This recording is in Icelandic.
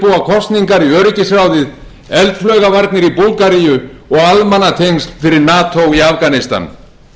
kosningar í öryggisráðið eldflaugavarnir í búlgaríu og almannatengsl fyrir nato í afganistan